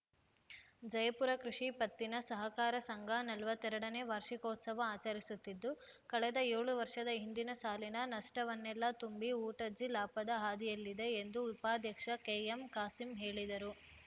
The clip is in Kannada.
ಜಯಪುರ ಕೃಷಿ ಪತ್ತಿನ ಸಹಕಾರ ಸಂಘ ನಲವತ್ತೇರಡನೇ ವಾರ್ಷಿಕೋತ್ಸವ ಆಚರಿಸುತ್ತಿದ್ದು ಕಳೆದ ಏಳು ವರ್ಷದ ಹಿಂದಿನ ಸಾಲಿನ ನಷ್ಟವನ್ನೆಲ್ಲಾ ತುಂಬಿ ಊಟ್ಟಜಿ ಲಾಭದ ಹಾದಿಯಲ್ಲಿದೆ ಎಂದು ಉಪಾಧ್ಯಕ್ಷ ಕೆಎಂಕಾಸಿಂ ಹೇಳಿದರು